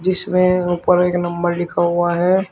इसमें ऊपर एक नंबर लिखा हुआ है।